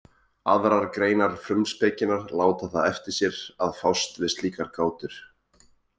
Aðrar greinar frumspekinnar láta það eftir sér að fást við slíkar gátur.